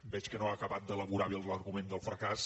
veig que no ha acabat d’elaborar bé l’argument del fracàs